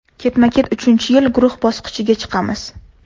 Ketma-ket uchinchi yil guruh bosqichiga chiqamiz.